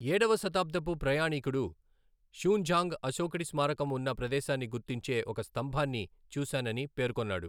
ఏడవ శతాబ్దపు ప్రయాణీకుడు షూన్జాంగ్ అశోకుడి స్మారకం ఉన్న ప్రదేశాన్ని గుర్తించే ఒక స్తంభాన్ని చూశానని పేర్కొన్నాడు.